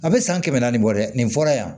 A bɛ san kɛmɛ naani bɔ dɛ nin fɔra yan